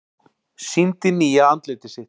Sýndi nýja andlitið sitt